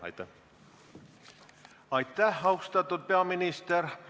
Aitäh, austatud peaminister!